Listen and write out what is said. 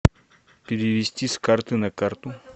перевести с карты на карту